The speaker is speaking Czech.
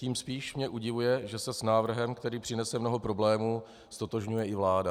Tím spíš mě udivuje, že se s návrhem, který přinese mnoho problémů, ztotožňuje i vláda.